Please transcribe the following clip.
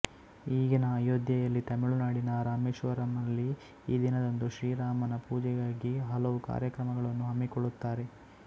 ಈಗಿನ ಅಯೋಧ್ಯೆಯಲ್ಲಿ ತಮಿಳುನಾಡಿನ ರಾಮೇಶ್ವರಂನಲ್ಲಿ ಈ ದಿನದಂದು ಶ್ರೀ ರಾಮನ ಪೂಜೆಗಾಗಿ ಹಲವು ಕಾರ್ಯಕ್ರಮಗಳನ್ನು ಹಮ್ಮಿಕೊಳ್ಳುತ್ತಾರೆ